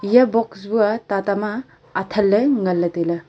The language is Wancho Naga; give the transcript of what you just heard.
iya box bu aa tata ma athanle nganle taile.